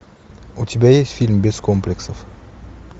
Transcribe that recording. у тебя есть фильм без комплексов